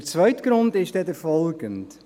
Der zweite Grund ist der folgende: